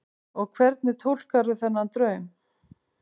Og hvernig túlkarðu þennan draum?